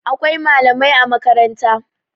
Akwai malamai a makaranta